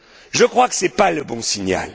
Je crois que ce n'est pas le bon signal.